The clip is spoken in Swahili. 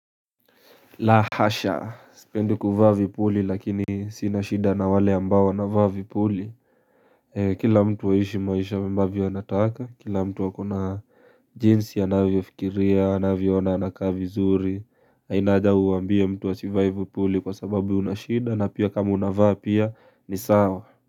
La hasha sipendi ku vaa vipuli lakini sinashida na wale ambao na wanavaa vipuli ee kila mtu aishi maisha mbavyo anataka kila mtu wakona jinsi anavyofikiria anavyoona anakavi zuri hainaja kuambia mtu wa si vaa vipuli kwa sababu unashida na pia kama unavaa pia ni sawa.